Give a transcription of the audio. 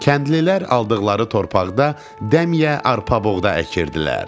Kəndlilər aldıqları torpaqda dəmyə arpa-buğda əkirdilər.